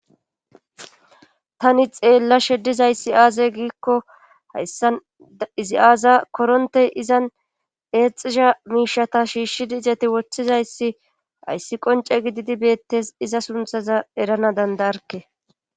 tani xeellashe dizayssi aaze giikko hayssan izi aaza korontey izan eexisha miishata shiishshidi izati woththizayssi hayssi qonce gididi beettes iza sunthaza erana dandaarke